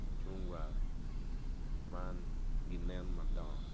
mucungwa man ginen madongo